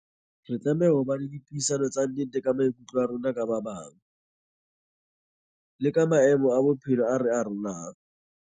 Re tlameha ho ba le dipuisano tsa nnete ka maikutlo a rona ka ba bang, le ka maemo a bophelo a re arolang.